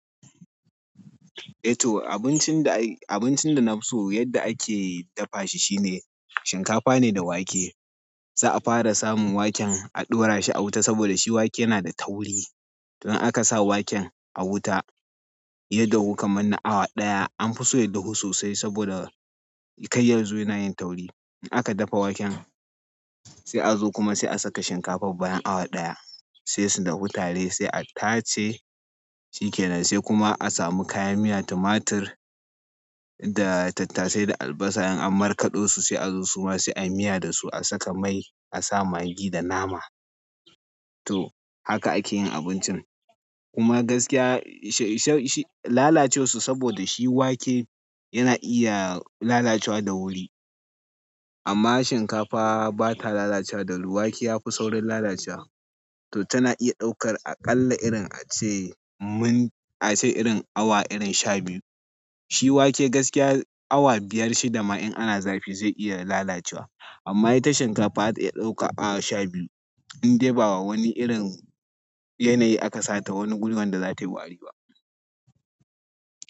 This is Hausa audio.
Eh to abincin da, abincin da na fi so yadda ake dafa shi shine shinkafa ne da wake. Za'a fara samun waken a ɗora shi a wuta saboda shi wake yana da tauri. To in aka sa waken a wuta ya dahu kamar na awa ɗaya an fi so ya dahu sosai saboda kar ya zo yana yin tauri. In aka dafa waken sai a zo kuma sai a saka shinkafar bayan awa ɗaya sai su dahu tare sai a tace shi ke nan sai kuma a samu kayan miya tumatir da tattasai da albasa in an markaɗo su sai a zo su ma sai ayi miya da su a saka mai a sa maggi da nama. To haka ake yin abincin kuma gaskiya sha-shi lalacewar su saboda shi wake yana iya lalacewa da wuri amma shinkafa ba ta lalacewa da wuri wake ya fi saurin lalacewa to tana iya ɗaukar aƙalla irin a ce mun a ce irin awa irin sha biyu. Shi wake gaskiya awa biyar shi dama in ana zafi zai iya lalacewa amma ita shinkafa zata ta iya ɗaukar awa sha biyu in dai ba wa wani irin yanayi aka sa ta wani guri wanda za ta yi wari ba.